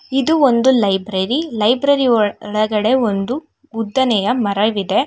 ಇದು ಒಂದು library library ಒಳಗಡೆ ಒಂದು ಉದ್ದನೆಯ ಮರವಿದೆ.